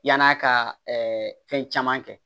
Yan'a ka ɛɛ fɛn caman kɛ